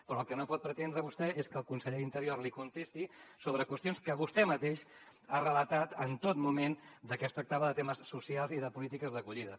però el que no pot pretendre vostè és que el conseller d’interior li contesti sobre qüestions que vostè mateix ha relatat en tot moment que es tractava de temes socials i de polítiques d’acollida